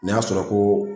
N'i y'a sɔrɔ ko